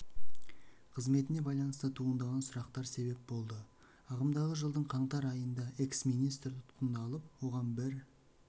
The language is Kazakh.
қызметіне байланысты туындаған сұрақтар себеп болды ағымдағы жылдың қаңтар айнында экс министр тұтқындалып оған бір